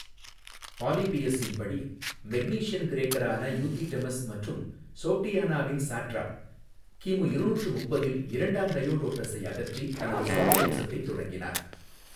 பாலிபியஸின் படி மெக்னீசியன் கிரேக்கரான யூதிடெமஸ் மற்றும் சோக்டியானாவின் சாட்ராப் கிமு இருநூற்று முப்பதில் இரண்டாம் டையோடோடஸை அகற்றி தனது சொந்த வம்சத்தைத் தொடங்கினார்.